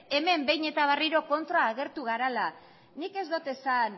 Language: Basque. hemen behin eta berriro kontran agertu garela nik ez dut esan